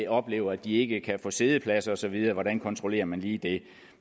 oplever at de ikke kan få siddepladser og så videre hvordan kontrollerer man lige det